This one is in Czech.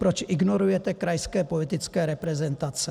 Proč ignorujete krajské politické reprezentace?